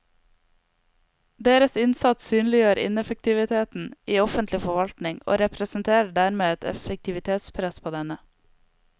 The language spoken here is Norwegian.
Deres innsats synliggjør ineffektiviteten i offentlig forvaltning og representerer dermed et effektivitetspress på denne.